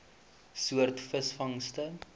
soort visvangste